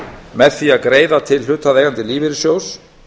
með því að greiða til hlutaðeigandi lífeyrissjóðs